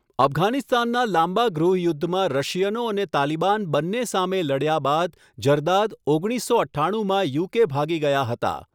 અફઘાનિસ્તાનનાં લાંબા ગૃહ યુદ્ધમાં રશિયનો અને તાલિબાન બંને સામે લડ્યા બાદ ઝરદાદ ઓગણીસસો અઠ્ઠાણુંમાં યુકે ભાગી ગયા હતા.